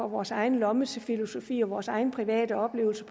vores egen lommefilosofi og vores egen private oplevelse